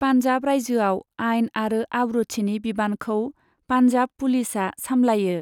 पान्जाब रायजोआव आइन आरो आब्रुथिनि बिबानखौ पान्जाब पुलिसआ सामलायो।